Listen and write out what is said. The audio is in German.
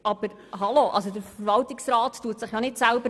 Aber der Verwaltungsrat wählt sich ja nicht selber.